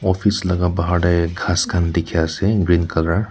office laka bahar ti khas kan teki ase green colour .